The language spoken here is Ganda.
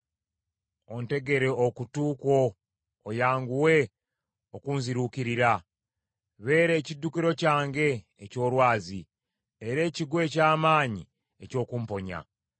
Ontegere okutu kwo oyanguwe okunziruukirira. Beera ekiddukiro kyange eky’olwazi era ekigo eky’amaanyi eky’okumponya.